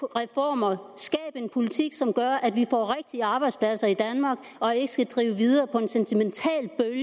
reformer skab en politik som gør at vi får rigtige arbejdspladser i danmark og ikke skal drive videre på en sentimental